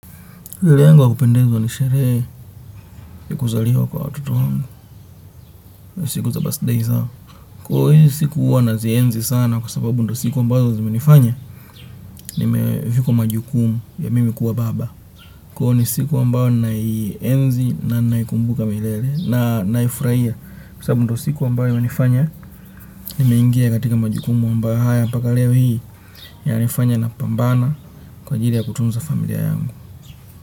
Sherehe yangu wa kupendezwa ni sherehe ya kuzaliwa kwa watoto wangu, siku za birthday zao. Kwa hizi siku huwa nazienzi sana kwa sababu ndo siku ambazo zimenifanya, nimevikwa majukumu ya mimi kuwa baba. Kwa hiyo ni siku ambayo naienzi na naikumbuka milele na naifurahia kwa sababu ndo siku ambayo hunifanya, nimeingia katika majukumu ambayo mpaka leo hii yananifanya napambana kwa ajili ya kutunza familia yangu.